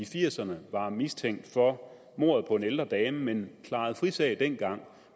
firserne var mistænkt for mordet på en ældre dame men klarede frisag dengang